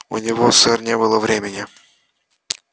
у него сэр не было времени